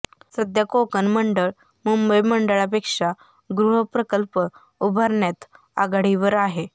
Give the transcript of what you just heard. सध्या कोकण मंडळ मुंबई मंडळापेक्षा गृहप्रकल्प उभारण्यात आघाडीवर आहे